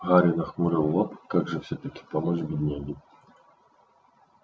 гарри нахмурил лоб как же всё-таки помочь бедняге